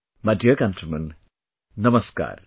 My dear countrymen, Namaskar